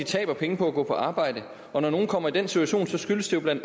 tabe penge på at gå på arbejde og når nogle kommer i den situation skyldes det bla